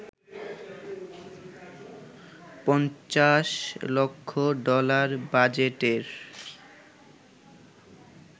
৫০ লক্ষ ডলার বাজেটের